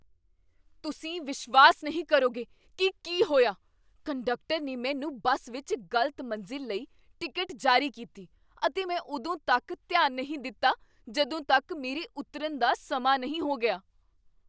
ਤੁਸੀਂ ਵਿਸ਼ਵਾਸ ਨਹੀਂ ਕਰੋਗੇ ਕੀ ਕੀ ਹੋਇਆ! ਕੰਡਕਟਰ ਨੇ ਮੈਨੂੰ ਬੱਸ ਵਿੱਚ ਗ਼ਲਤ ਮੰਜ਼ਿਲ ਲਈ ਟਿਕਟ ਜਾਰੀ ਕੀਤੀ, ਅਤੇ ਮੈਂ ਉਦੋਂ ਤੱਕ ਧਿਆਨ ਨਹੀਂ ਦਿੱਤਾ ਜਦੋਂ ਤੱਕ ਮੇਰੇ ਉਤਰਨ ਦਾ ਸਮਾਂ ਨਹੀਂ ਹੋ ਗਿਆ!